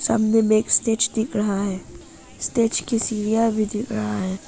सामने में एक स्टेज दिख रहा है स्टेज की सीढ़ियां भी दिख रहा है।